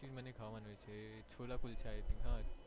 મને પણ ખાવાનું છે છોલા કુલચા એ